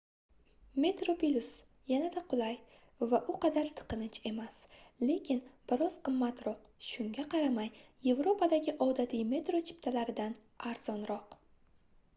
metroplus yanada qulay va u qadar tiqilinch emas lekin bir oz qimmatroq shunga qaramay yevropadagi odatiy metro chiptalaridan arzonroq